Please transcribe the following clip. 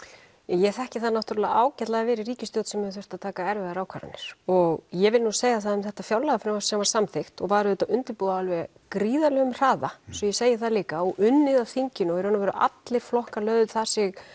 ég þekki það ágætlega að vera í ríkisstjórn sem hefur þurft að taka erfiðar ákvarðanir og ég vil segja það um þetta fjárlagafrumvarp sem var samþykkt og var auðvitað undirbúið á alveg gríðarlegum hraða svo ég segi það líka og unnið á þinginu og allir flokkar lögðu sig